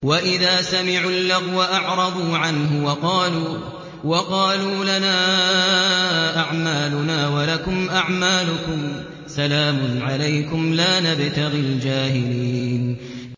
وَإِذَا سَمِعُوا اللَّغْوَ أَعْرَضُوا عَنْهُ وَقَالُوا لَنَا أَعْمَالُنَا وَلَكُمْ أَعْمَالُكُمْ سَلَامٌ عَلَيْكُمْ لَا نَبْتَغِي الْجَاهِلِينَ